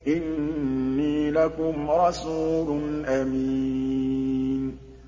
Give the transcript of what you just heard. إِنِّي لَكُمْ رَسُولٌ أَمِينٌ